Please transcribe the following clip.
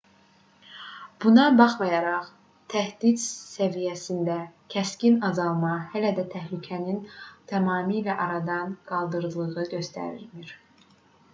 buna baxmayaraq təhdid səviyyəsində kəskin azalma hələ də təhlükənin tamamilə aradan qaldırıldığını göstərmir